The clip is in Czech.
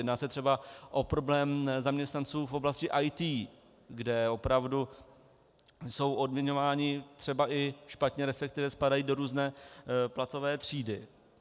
Jedná se třeba o problém zaměstnanců v oblasti IT, kde opravdu jsou odměňováni třeba i špatně, respektive spadají do různé platové třídy.